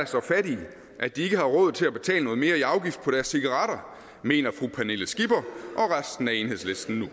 så fattige at de ikke har råd til at betale noget mere i afgift på deres cigaretter mener fru pernille skipper og resten af enhedslisten nu